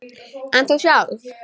En þú sjálf?